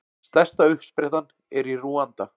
Stærsta uppsprettan er í Rúanda.